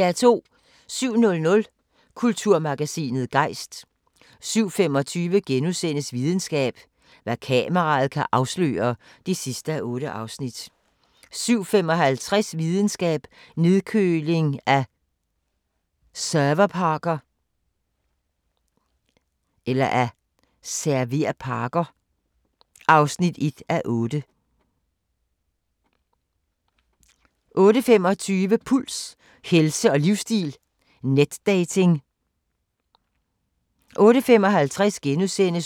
07:00: Kulturmagasinet Gejst 07:25: Videnskab: Hvad kameraet kan afsløre (8:8)* 07:55: Videnskab: Nedkøling af serverparker (1:8) 08:25: Puls – helse og livsstil: Netdating 08:55: